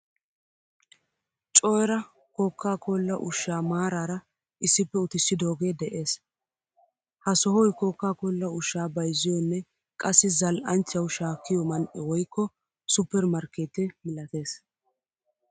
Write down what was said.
Coe=ra kokakolla ushshaa maarara issippe uttisidoge de'ees. Ha sohoy koka kolla ushshaa bayzziyonne qassi zal'anchchawu shakkiyo man'e woykko supper markkette milattees.